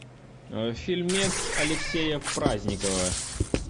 фильмец алексея праздникова